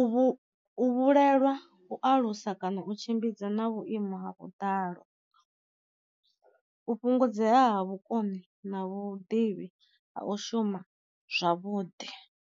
U vhu u vhulelwa u alusa kana u tshimbidza na vhuimo ha vhuḓalo, u fhungudzea ha vhukoni na vhuḓivhi ha u shuma zwavhuḓi.